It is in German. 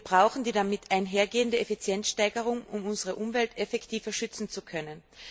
Wir brauchen die damit einhergehende Effizienzsteigerung, um unsere Umwelt effektiver schützen zu können.